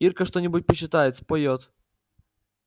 ирка что-нибудь почитает споёт